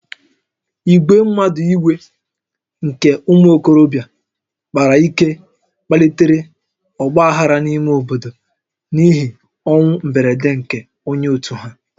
Ìgwè mmadụ iwe nke ụmụ okorobịa kpara ike kpalitere ọgba aghara n'ime obodo n'ihi ọnwụ mberede nke onye òtù ha